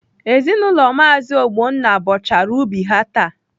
Ezinaụlọ Maazi Ogbonna bọchara ubi ha taa.